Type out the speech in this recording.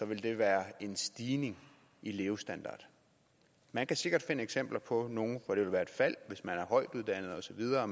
vil det være en stigning i levestandard man kan sikkert finde eksempler på nogle hvor det vil være et fald hvis man er højtuddannet og så videre og